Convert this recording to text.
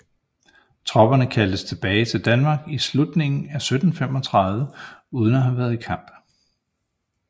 Tropperne kaldtes tilbage til Danmark i slutningen af 1735 uden at have været i kamp